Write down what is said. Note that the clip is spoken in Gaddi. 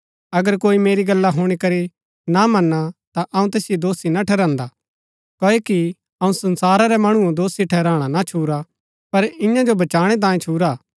अगर कोई मेरी गल्ला हूणी करी ना मना ता अऊँ तैसिओ दोषी ना ठहरान्दा क्ओकि अऊँ संसारा रै मणुओ दोषी ठहराणा ना छूरा पर ईयां जो बचाणै तांयें छूरा हा